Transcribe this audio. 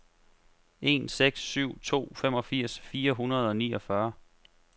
en seks syv to femogfirs fire hundrede og niogfyrre